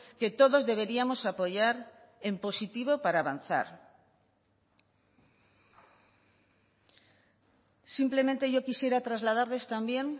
que todos deberíamos apoyar en positivo para avanzar simplemente yo quisiera trasladarles también